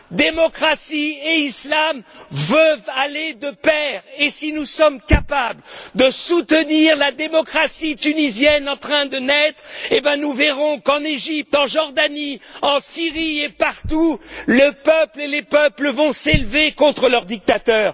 Démocratie et Islam veulent aller de pair et si nous sommes capables de soutenir la démocratie tunisienne en train de naître, nous verrons qu'en Égypte, en Jordanie, en Syrie, et partout, le peuple et les peuples vont s'élever contre leurs dictateurs.